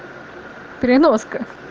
переноска